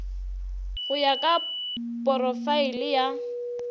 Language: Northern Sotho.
go ya ka porofaele ya